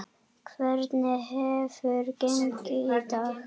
Hvernig hefur gengið í dag?